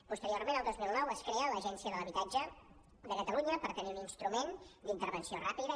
posteriorment el dos mil nou es crea l’agència de l’habitatge de catalunya per tenir un instrument d’intervenció ràpida